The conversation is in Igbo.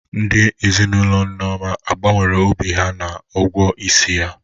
Ndị ezinaụlọ Nneoma ọ gbanwere obi ha na ụgwọ isi ya?